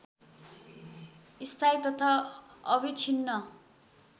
स्थायी तथा अविछिन्न